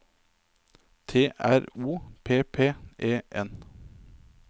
T R O P P E N